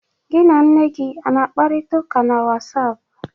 Gị na nne gị ana-akparịta ụka na WhatsApp?